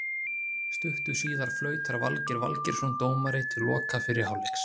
Stuttu síðar flautar Valgeir Valgeirsson dómari til loka fyrri hálfleiks.